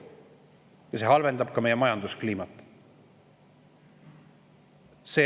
Ja see halvendab ka meie majanduskliimat.